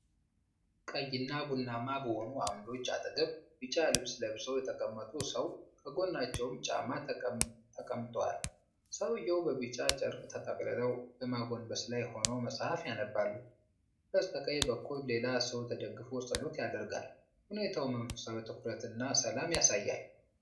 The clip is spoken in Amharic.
ቀይና ቡናማ በሆኑ ዓምዶች አጠገብ፣ ቢጫ ልብስ ለብሰው የተቀመጡ ሰው፣ ከጎናቸውም ጫማ ተቀምጧል። ሰውዬው በቢጫ ጨርቅ ተጠቅልለው በማጎንበስ ላይ ሆነው መጽሐፍ ያነባሉ። በስተቀኝ በኩል ሌላ ሰው ተደግፎ ጸሎት ያደርጋል። ሁኔታው መንፈሳዊ ትኩረት እና ሰላም ያሳያል።